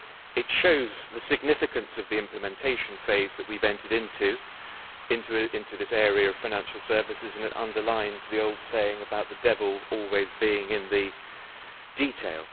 It shows the significance of the implementation phase that we have entered into into this area of financial services and it underlines the old saying about the devil always being in the detail.